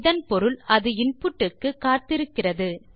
இதன் பொருள் அது இன்புட் க்கு காத்திருக்கிறது